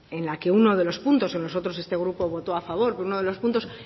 en la que uno de los puntos o los otros este grupo votó a favor con uno de los puntos